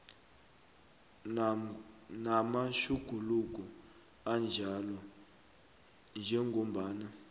namatjhuguluko anjalo njengombana